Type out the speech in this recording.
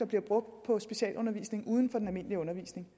bliver brugt på specialundervisning uden for den almindelige undervisning